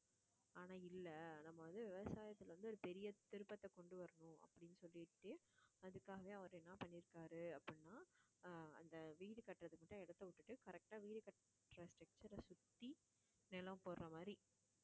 ஆனா இல்லை நம்ம வந்து விவசாயத்துல வந்து ஒரு பெரிய திருப்பத்தை கொண்டு வரணும் அப்படின்னு சொல்லிட்டு அதுக்காக அவர் என்ன பண்ணியிருக்காரு அப்படின்னா ஆஹ் அந்த வீடு கட்டுறதுக்கு மட்டும் இடத்தை விட்டுட்டு correct ஆ வீடு கட்டற structure அ சுத்தி நிலம் போடுற மாதிரி